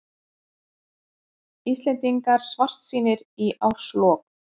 Íslendingar svartsýnir í árslok